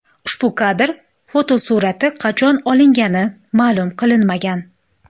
Ushbu kadr fotosurati qachon olingani ma’lum qilinmagan.